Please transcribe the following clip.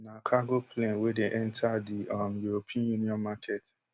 na cargo plane wey dey enta di um european union market